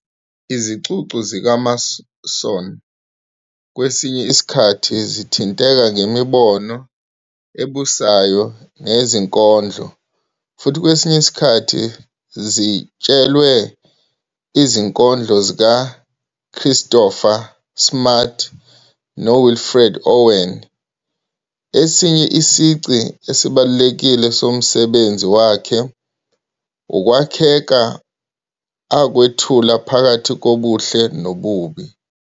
"Izicucu zikaMason kwesinye isikhathi zithinteka ngemibono ebusayo neyezinkondlo, futhi kwesinye isikhathi zitshelwe izinkondlo zikaChristopher Smart noWilfred Owen, esinye isici esibalulekile somsebenzi wakhe ukwakheka akwethula phakathi kobuhle nokubi.